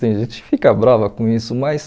Tem gente que fica brava com isso, mas...